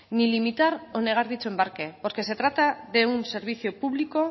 ni limitar o negar dicho embarque porque se trata de un servicio público